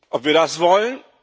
Ob wir das wollen?